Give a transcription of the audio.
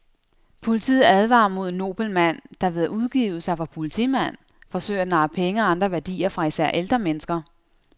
Politiet advarer mod en nobel mand, der ved at udgive sig for politimand forsøger at narre penge og andre værdier fra især ældre mennesker.